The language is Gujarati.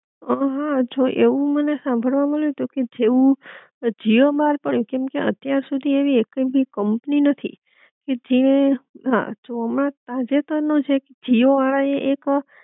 હઅ હ જો એવું મને સાંભળવા મળ્યું તું કે જેવુ જીઓ બાર પડ્યું કેમકે અત્યાર સુધી એવી એકે ભી કંપની નથી, કે જે હા જો હમણાં તાજેતર નો જ એક જીઓ વાળા એ એક